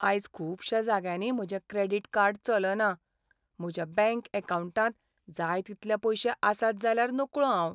आयज खुबश्या जाग्यांनी म्हजें क्रॅडिट कार्ड चलना. म्हज्या बँक अकावंटांत जाय तितलें पयशें आसात जाल्यार नकळो हांव.